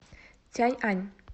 цяньань